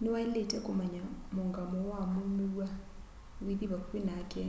ni wailitwe kumanya muungamo wa muumiw'a withi vakuvi nake